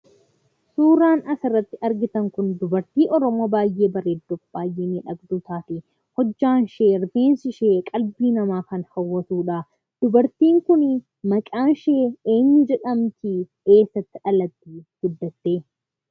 Suuraan as irratti argitan kun dubartii Oromoo baay'ee bareedduuf baayyee miidhagduu taate hojjaan ishee rifeensi ishee qalbii namaa kan hawwatudha. Dubartiin kun maqaan ishee eenyu jedhamti? eessatti dhalattee guddatte?